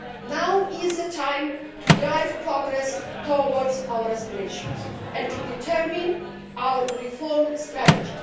Now is the time to make progress towards our aspirations and to determine our reform strategy.